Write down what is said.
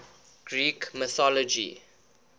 greek mythology